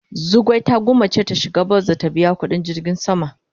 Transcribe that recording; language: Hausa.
Zugwai ta gwanmace ta shiga bas da ta biya kudin jirgin sama.